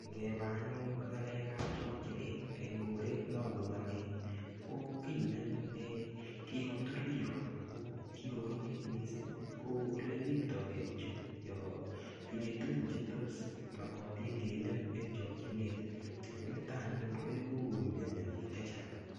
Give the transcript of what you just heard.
Ngeba anyun ng'alek ap chokchinet eng koret nabunu ane ko kiy anyun nekikotur biko ako kikokoromit mising ko ole riptoke bichu yo tinyei tukun che tos mokotin kenem eng chokchinet konitok anyun koibu koumionio biik che chang.